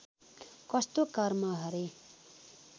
कस्तो कर्म हरे